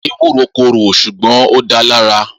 Ewúro korò ṣùgbọ́n ó dáa lára